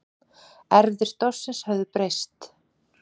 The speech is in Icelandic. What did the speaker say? Erfðir stofnsins höfðu breyst.